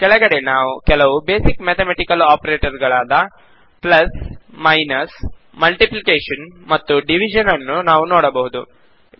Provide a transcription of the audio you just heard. ಮತ್ತು ಕೆಳಗಡೆ ಕೆಲವು ಬೇಸಿಕ್ ಮ್ಯಾತಮೆಟಿಕಲ್ ಒಪರೇಟರ್ ಗಳಾದ ಕೂಡಿಸು ಕಳೆ ಗುಣಾಕಾರ ಹಾಗೂ ಭಾಗಾಕಾರಗಳನ್ನು ನಾವು ನೋಡಬಹುದು